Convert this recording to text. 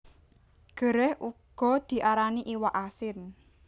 Gerèh uga diarani iwak asin